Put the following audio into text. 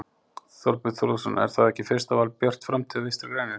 Þorbjörn Þórðarson: Er þá ekki fyrsta val Björt framtíð og Vinstri-grænir?